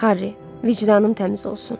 Harri, vicdanım təmiz olsun.